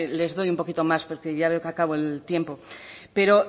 les doy un poquito más porque ya veo que acabo el tiempo pero